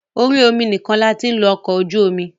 Orí omi nìkan la ti ń lo ọkọ̀ ojú omi.